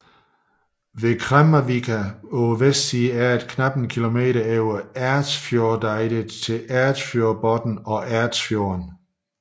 Ved Kremmarvika på vestsiden er der kun knap en kilometer over Ersfjordeidet til Ersfjordbotn og Ersfjorden